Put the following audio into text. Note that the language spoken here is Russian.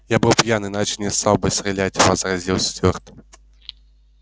я был пьян иначе не стал бы стрелять возразил стюарт